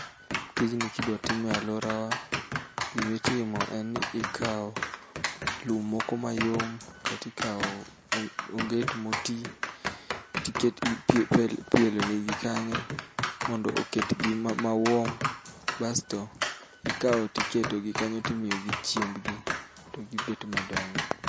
Tijni kidwa time aluorawa, gimitimo enni ikawo lum moko mayom kaeto ikawo onget moti ti ket ii pi pielonegi kanyo mondo oketgi ma mawarm basto ikawo tiketogi kanyo timiyogi chiembigi togi bet madongo.